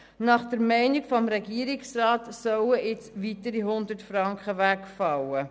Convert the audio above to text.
Nach der Meinung des Regierungsrats sollten jetzt weitere 100 Franken wegfallen.